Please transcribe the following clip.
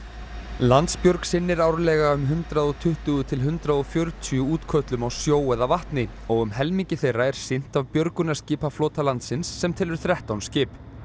Landsbjörg sinnir árlega um hundrað og tuttugu til hundrað og fjörutíu útköllum á sjó eða vatni og um helmingi þeirra er sinnt af björgunarskipaflota landsins sem telur þrettán skip